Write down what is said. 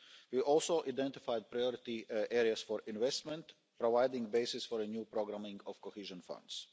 We also identified priority areas for investment, providing a basis for a new programming of cohesion